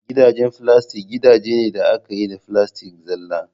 Gidajen filastik gidaje ne da aka yi da filastik zalla